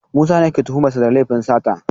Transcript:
Musa ne ake tuhumar sa da laifin sata